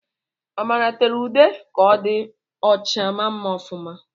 Amara tere ude ka o di ọcha, maa mma ọfuma